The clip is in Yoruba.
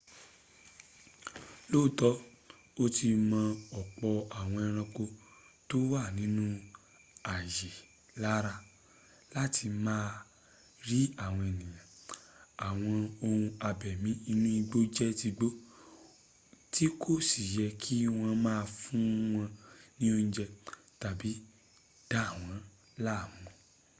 lóòtọ́ ó ti mọ́ ọ̀pọ̀ àwọn ẹranko tó wà nínú ààyè lára láti má a rí àwọn èèyàn àwọn ohun abẹ̀mí inú igbó jẹ́ tigbó tí kò si yẹ kí wọ́n má a fún wọn ní oúnjẹ́ tàbí dàwọn láàmùn